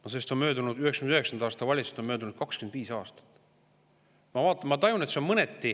Aga 1999. aasta valitsusest on möödunud 25 aastat.